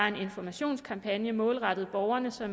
en informationskampagne målrettet borgerne så